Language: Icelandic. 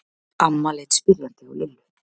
Amma leit spyrjandi á Lillu.